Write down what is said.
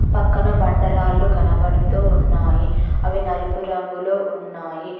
పక్కన బండ రాళ్లు కనబడుతూ ఉన్నాయి అవి నలుపు రంగులొ ఉన్నాయి.